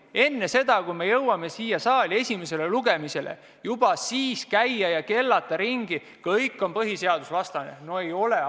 Juba enne seda, kui me jõudsime siia saali esimesele lugemisele, käia ringi ja kellata, et eelnõu on põhiseadusvastane – no ei ole.